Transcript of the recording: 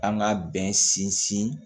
An ka bɛn sinsin